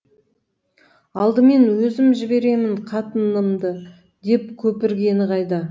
алдымен өзім жіберемін қатынымды деп көпіргені қайда